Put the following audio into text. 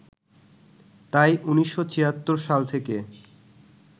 তাই ১৯৭৬ সাল থেকে